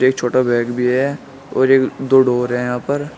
एक छोटा बैग भी है और एक दो डोर हैं यहां पर।